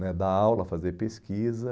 né dar aula, fazer pesquisa.